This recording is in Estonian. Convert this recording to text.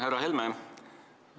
Härra Helme!